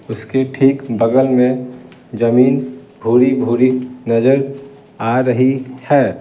उसके ठीक बगल में जमीन भूरी-भूरी नजर आ रही है।